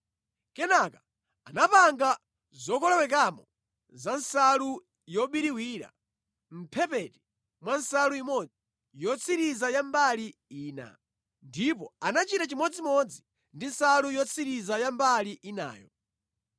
Kenaka anapanga zokolowekamo za nsalu yobiriwira mʼmphepete mwa nsalu imodzi yotsiriza ya mbali ina. Ndipo anachita chimodzimodzi ndi nsalu yotsiriza ya mbali inayo.